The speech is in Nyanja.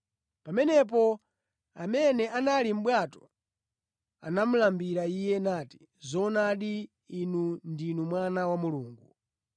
Pamenepo amene anali mʼbwato anamulambira Iye, nati, “Zoonadi, Inu ndinu Mwana wa Mulungu.”